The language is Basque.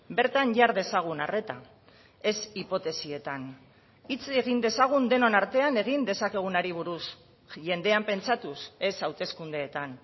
bertan jar dezagun arreta ez hipotesietan hitz egin dezagun denon artean egin dezakegunari buruz jendean pentsatuz ez hauteskundeetan